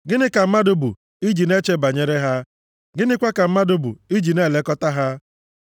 gịnị ka mmadụ bụ i ji na-eche banyere ha? Gịnịkwa ka mmadụ bụ iji na-elekọta + 8:4 Gịnị ka nwa nke mmadụ bụ na ihe banyere ya na-emetụ gị nʼobi ha?